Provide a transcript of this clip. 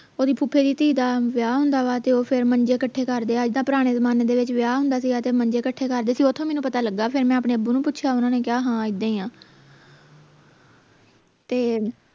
ਓਹਦੀ ਫੁਫੇ ਦੀ ਧੀ ਦਾ ਵਿਆਹ ਹੁੰਦਾ ਵਾ ਤੇ ਫੇਰ ਉਹ ਮੰਜੇ ਕੱਠੇ ਕਰਦੇ ਆ ਇੱਦਾਂ ਪੁਰਾਣੇ ਜਮਾਨੇ ਦੇ ਵਿਚ ਵਿਆਹ ਹੁੰਦਾ ਸੀ ਗਾ ਤੇ ਮੰਜੇ ਕੱਠੇ ਕਰਦੇ ਸੀ ਓਥੋਂ ਮੈਨੂੰ ਪਤਾ ਲੱਗਾ ਫੇਰ ਮੈਂ ਆਪਣੇ ਅੱਬੂ ਨੂੰ ਪੁੱਛਿਆ ਓਹਨਾ ਨੇ ਕਿਹਾ ਹਾਂ ਇੱਦਾਂ ਹੀ ਆ ਤੇ